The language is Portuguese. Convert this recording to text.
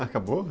Acabou?